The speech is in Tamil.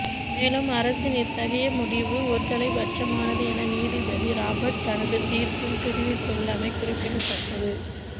மேலும் அரசின் இத்தகைய முடிவு ஒருதலைபட்சமானது என நீதிபதி ராபர்ட் தனது தீர்ப்பில் தெரிவித்துள்ளமை குறிப்பிடத்தக்கது